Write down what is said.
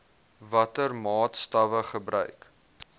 watter maatstawwe gebruik